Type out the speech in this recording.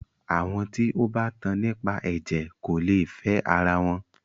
Àwọn tí o bá tan nípa ẹ̀jẹ̀ kò lè fẹ ara wọn.